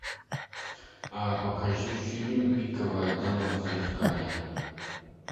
а покажи фильм пиковая дама зазеркалье